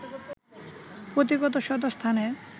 পতি কত শত স্থানে